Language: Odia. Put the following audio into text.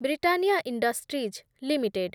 Britannia industries limited